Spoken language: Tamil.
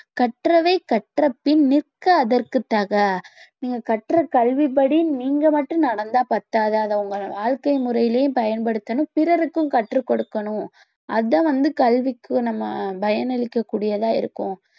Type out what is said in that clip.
கற்றவை கற்றபின் நிற்க அதற்குத் தக நீங்க கற்ற கல்வி படி நீங்க மட்டும் நடந்தா பத்தாது அதை உங்களோட வாழ்க்கை முறையிலயும் பயன்படுத்தணும் பிறருக்கும் கற்றுக் கொடுக்கணும் அதான் வந்து கல்விக்கு நம்ம பயனளிக்க கூடியதாக இருக்கும்